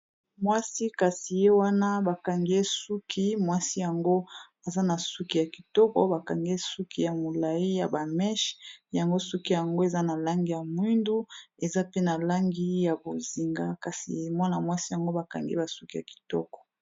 Mwasi kasi ye wana bakangiye suki mwasi yango aza na suki ya kitoko bakangiye suki ya molayi ya bameshe yango suki yango eza na langi ya mwindu eza pe na langi ya bozinga kasi mwana mwasi yango bakangi basuki ya kitoko.